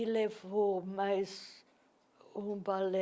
E levou mais um balé,